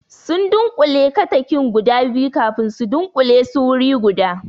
Sun dunƙule katakin guda biyu kafin su dunkule su wuri guda